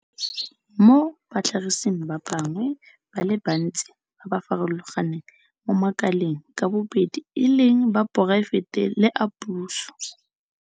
mo batlhagising ba bangwe ba le bantsi ba ba farologaneng mo makaleng ka bobedi e leng a poraefete le a puso.